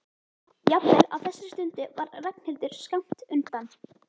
Jafnvel á þessari stundu var Ragnhildur skammt undan.